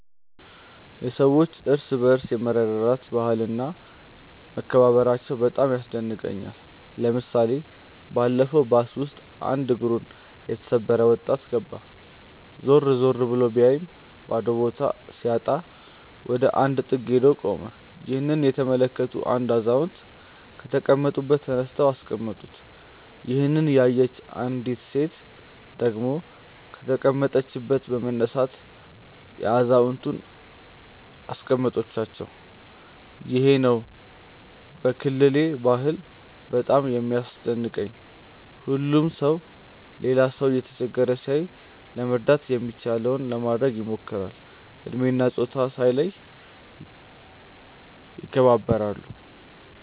የሰዎች እርስ በርስ የመረዳዳት ባህል እና መከባበራቸው በጣም ያስደንቀኛል። ለምሳሌ ባለፈው ባስ ውስጥ አንድ እግሩን የተሰበረ ወጣት ገባ። ዞር ዞር ብሎ ቢያይም ባዶ ቦታ ሲያጣ ወደ አንድ ጥግ ሄዶ ቆመ። ይህንን የተመለከቱ አንድ አዛውንት ከተቀመጡበት ተነስተው አስቀመጡት። ይሄንን ያየች አንዲት ሴት ደግሞ ከተቀመጠችበት በመነሳት አዛውየንቱን አስቀመጠቻቸው። ይሄ ነው ከክልሌ ባህል በጣም የሚያስደንቀኝ። ሁሉም ሰው ሌላ ሰው እየተቸገረ ሲያይ ለመርዳት የሚችለውን ለማድረግ ይሞክራል። እድሜ እና ፆታ ሳይለዩ ይከባበራሉ።